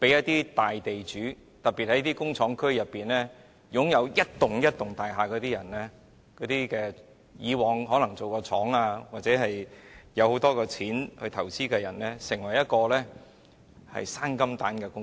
對於大地主，特別是那些在工廠區擁有一幢又一幢大廈，以往可能用作經營工廠或有很多餘錢進行投資的人來說，這便成為"生金蛋"的最好工具。